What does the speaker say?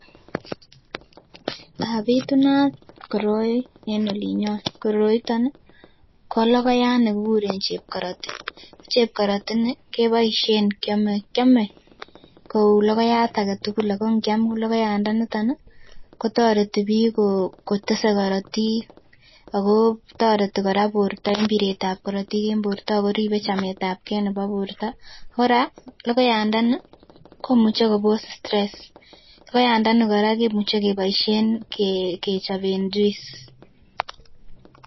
But at koroi en olinyon ,ko logoiyat nekikuren chekoroti ako chepkoroti ini kebaishen kiame nkoublogoiyat agetugul Kole kongia KO logoiyat niton kotariti bik kotise korotik ako tareti koraa borta en biret ab korotik en borta akoribe chamet ab keibnebo borta koraa ko logoiyat ndani komuche Kobo's stress logoiyat ndani koraa komuche koraa kebaishen kechoben juice